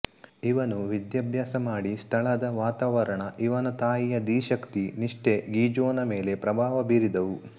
ಇವನು ವಿಧ್ಯಾಭ್ಯಾಸ ಮಾಡಿ ಸ್ಥಳದ ವಾತಾವರಣ ಇವನ ತಾಯಿಯ ಧೀಶಕ್ತಿ ನಿಷ್ಠೆ ಗೀಜ಼ೋನ ಮೇಲೆ ಪ್ರಭಾವ ಬೀರಿದುವು